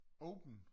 Åben?